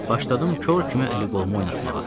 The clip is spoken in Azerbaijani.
Başladım kor kimi əli-qolumu oynatmağa.